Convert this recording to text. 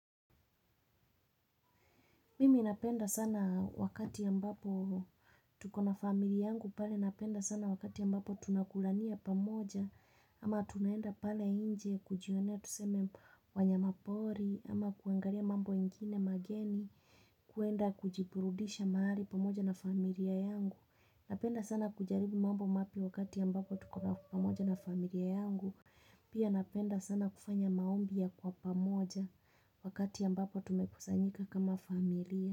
Mimi napenda sana wakati ambapo tuko na familia yangu pale napenda sana wakati ya ambapo tunakulania pamoja ama tunaenda pale nje kujionea tuseme wanyamapori ama kuangalia mambo mengine mageni kuenda kujiburudisha mahali pamoja na familia yangu Napenda sana kujaribu mambo mapya wakati ambapo tuko na pamoja na familia yangu Pia napenda sana kufanya maombi ya kwa pamoja wakati ambapo tumekusanyika kama familia.